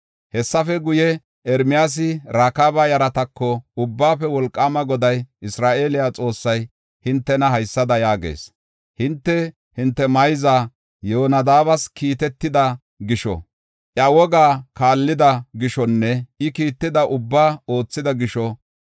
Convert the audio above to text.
Hessafe guye, Ermiyaasi Rakaaba yaratako, “Ubbaafe Wolqaama Goday, Isra7eele Xoossay hintena haysada yaagees: ‘Hinte, hinte mayza Yoonadaabas kiitetida gisho, iya wogaa kaallida gishonne I kiitida ubbaa oothida gisho,